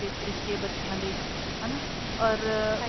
ਪੀਣ ਦੇ ਤਰੀਕੇ ਬੱਚਿਆ ਦੇ ਹਨਾ or